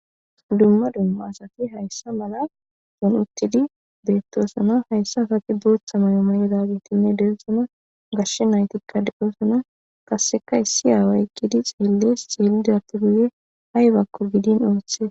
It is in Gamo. Dumma dumma asati hayssa mala dun'uttidi beettosona hayssa asati booththa mayoma 'odagetinne deessona gashshe naytikka de'osona qasseka issi aaway gidi xeellees xielidappi guye aybakko gidin ooththee.